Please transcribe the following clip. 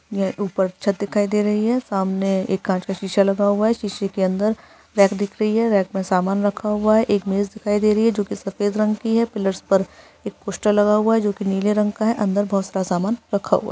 यह ऊपर छत दिखाई दे रही है सामने एक कांच का शीशा लगा हुआ है शीशे के अंदर रैक दिख रही है रैक में सामान रखा हुआ है एक मेज दिखाई दे रही है जो के सफेद रंग की है पिलर्स पर एक पोस्टर लगा हुआ है जो के नीले रंग का है अंदर बहुत सारा सामान रखा हुआ है।